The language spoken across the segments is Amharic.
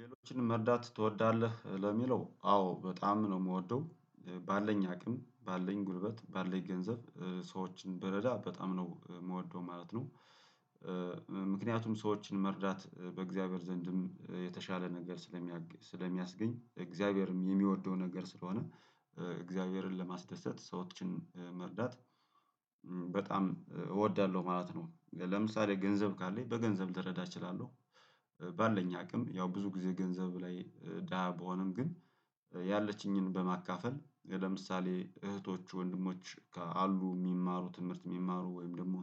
ሌሎችን መርዳት ትወዳለህ ለሚለው አዎ በጣም ነው የምወደው። ባለን አቅም ባለን ጉልበት ባለን ገንዘብ ሰዎችን ብረዳ በጣም ነው የምወደው ማለት ነው። ምክንያቱም ሰዎችን መርዳት በእግዚአብሔር ዘንድም የተሻለ ነገር ስለሚያስገኝ እግዚአብሔርም የሚወደው ነገር ስለሆነ እግዚአብሔርን ለማስደሰት ሰዎችን መርዳት። በጣም እወዳለሁ ማለት ነው ለምሳሌ ገንዘብ ካለኝ በገንዘብ ልረዳ እችላለሁ። ባለኝ አቅም ያው ብዙ ጊዜ ገንዘብ ላይ ደሃ ብሆንም ግን። ያለችኝን በማካፈል ለምሳሌ እህቶች ወንድሞች አሉ የሚማሩ ትምህርት የሚማሩ ወይም ደግሞ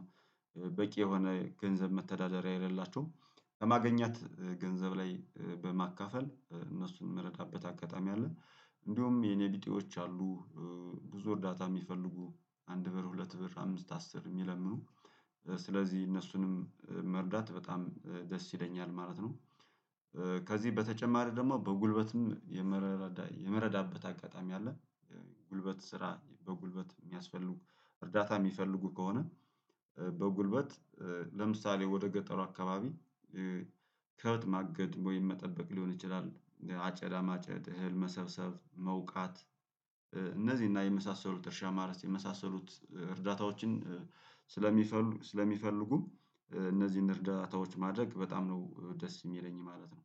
በቂ የሆነ ገንዘብ መተዳደሪያ የሌላቸውም በማገኛት ገንዘብ ላይ በማካፈል እነሱን የምረዳበት አጋጣሚ አለ። እንዲሁም የኔ ቢጤዎች አሉ ብዙ እርዳታ የሚፈልጉ አንድ ብር ሁለት ብር አምስት አስር የሚለምኑ ስለዚህ እነሱንም መርዳት በጣም ደስ ይለኛል ማለት ነው። ከዚህ በተጨማሪ ደግሞ በጉልበትም የምረዳበት አጋጣሚ አለ። ጉልበት ስራ በጉልበት የሚያስፈልጉ እርዳታ የሚፈልጉ ከሆነ በጉልበት ለምሳሌ ወደ ገጠሩ አካባቢ ከብት ማገድ ወይም መጠበቅ ሊሆን ይችላል። አጨዳ ማጨድ እህል መሰብሰብ መውቃት እነዚህና የመሳሰሉት እርሻ ማረስ የመሳሰሉት እርዳታዎችን። ስለሚፈልጉ እነዚህን እርዳታዎች ማድረግ በጣም ነው ደስ የሚለኝ ማለት ነው